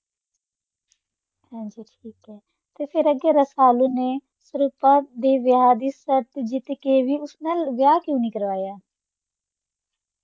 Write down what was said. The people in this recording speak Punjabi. ਹਾਂਜੀ ਠੀਕ ਹੈ ਤੇ ਫਿਰ ਅੱਗੇ ਰਸਾਲੂ ਨੇ ਸੁਰੂਪਾ ਦੇ ਵਿਆਹ ਦੀ ਸ਼ਰਤ ਜਿੱਤ ਕੇ ਵੀ ਉਸ ਨਾਲ ਵਿਆਹ ਕਿਉਂ ਨਹੀਂ ਕਰਵਾਯਾ?